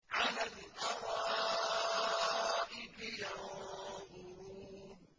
عَلَى الْأَرَائِكِ يَنظُرُونَ